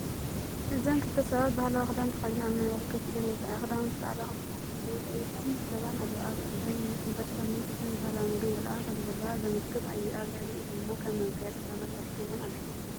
እዚ ክልተ ሰባት ባህላዊ ክዳን ተኸዲነን ኣብ መንበር ኮፍ ኢለን የርኢ። ክዳውንተን ጻዕዳ ኮይኑ ባህላዊ ሰማያውን ቀይሕን ሪባን ኣለዎ። ኣብ ኢደን ሕንባሻ መግብን ሒዞን ባህላዊ መግቢ ይበልዓ ከምዘለዉ ዘመልክት እዩ። ኣብ ልዕሊኡ ድማ ከም መጋየፂ ስልማትወርቂ ገይረን ኣለዋ።